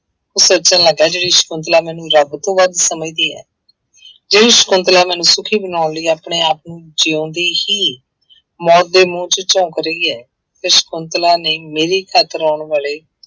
ਉਹ ਸੋਚਣ ਲੱਗ ਗਿਆ ਸਕੁੰਤਲਾ ਮੈਨੂੰ ਰੱਬ ਤੋਂ ਵੱਧ ਸਮਝਦੀ ਹੈ ਜਿਹੜੀ ਸਕੁੰਤਲਾ ਮੈਨੂੰ ਸੁਖੀ ਬਣਾਉਣ ਲਈ ਆਪਣੇ ਆਪ ਨੂੰ ਜਿਉਂਦੇ ਹੀ ਮੌਤ ਦੇ ਮੂੰਹ ਚ ਝੋਂਕ ਰਹੀ ਹੈ ਤੇ ਸਕੁੰਤਲਾ ਨੇ ਮੇਰੀ ਖ਼ਾਤਰ ਆਉਣ ਵਾਲੇ